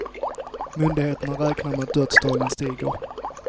Myndigheterna räknar med att dödstalen stiger.